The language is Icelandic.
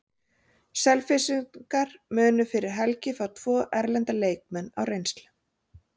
Selfyssingar munu fyrir helgi fá tvo erlenda leikmenn á reynslu.